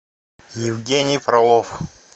евгений фролов